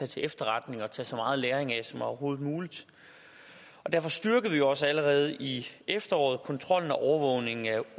til efterretning og tage så meget læring af som overhovedet muligt og derfor styrkede vi også allerede i efteråret kontrollen med og overvågningen af